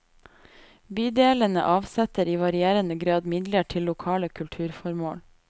Bydelene avsetter i varierende grad midler til lokale kulturformål.